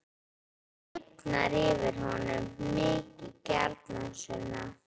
Það lifnar yfir honum: Mikið gjarnan, Sunna.